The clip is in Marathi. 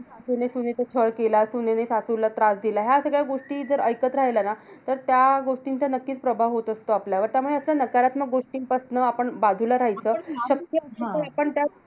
सासूने सुनेचा छळ केला. सुनेने सासूला त्रास दिला. ह्या सगळ्या गोष्टी जर ऐकत राहिलो ना, तर त्या गोष्टींचा नक्कीच प्रभाव होतं असतो आपल्यावर. त्यामुळे असं नकारात्मक गोष्टींपासनं आपण बाजूला राहायचं. शक्य असेल तरीपण त्या